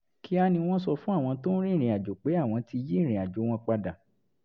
kíá ni wọ́n sọ fún àwọn tó ń rìnrìn àjò pé àwọn ti yí ìrìnàjò wọn padà